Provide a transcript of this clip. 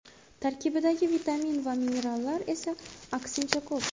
Tarkibidagi vitamin va minerallar esa, aksincha, ko‘p.